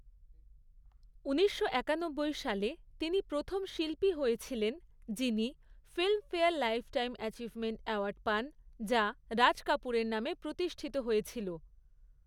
ঊনিশশো একানব্বই সালে, তিনি প্রথম শিল্পী হয়েছিলেন যিনি ফিল্মফেয়ার লাইফটাইম অ্যাচিভমেন্ট অ্যাওয়ার্ড পান, যা রাজ কাপুরের নামে প্রতিষ্ঠিত হয়েছিল।